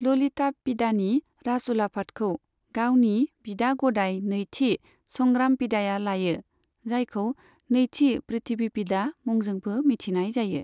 ललितापिडानि राजउलाफादखौ गावनि बिदा गदाइ नैथि संग्रामपिडाया लायो, जायखौ नैथि पृथ्वीपिडा मुंजोंबो मिथिनाय जायो।